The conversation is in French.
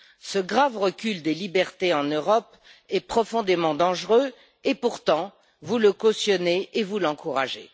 Ce grave recul des libertés en Europe est profondément dangereux et pourtant vous le cautionnez et vous l'encouragez.